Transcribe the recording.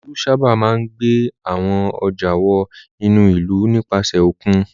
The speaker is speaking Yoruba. Olú sábà máa ń gbé àwọn ọjà wọ inú ìlú nípasẹ̀ òkun.